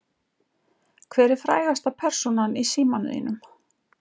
Hver er frægasta persónan í símanum þínum?